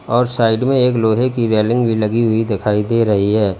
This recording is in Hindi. और साइड में एक लोहे की रेलिंग भी लगी हुई दिखाई दे रही है।